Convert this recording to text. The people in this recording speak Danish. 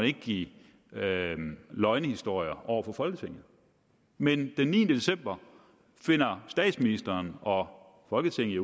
ikke give løgnehistorier over for folketinget men den niende december finder statsministeren og folketinget